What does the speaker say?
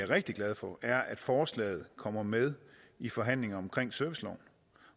rigtig glad for er at forslaget kommer med i forhandlingerne om serviceloven